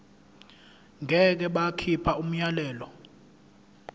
ngeke bakhipha umyalelo